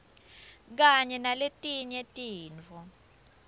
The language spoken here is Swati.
kanye naletinye tintfo